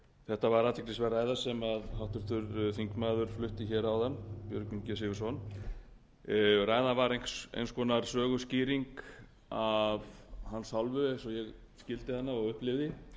þetta var athyglisverð ræða sem háttvirtur þingmaður björgvin g sigurðsson flutti áðan ræðan var eins konar söguskýring af hans hálfu eins og ég skildi hana og upplifði